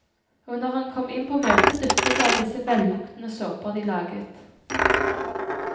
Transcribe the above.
Og når han kom inn på møte, duftet det av disse velluktende såper de laget.